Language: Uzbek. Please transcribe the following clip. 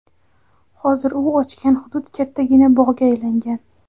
Hozir u ochgan hudud kattagina bog‘ga aylangan.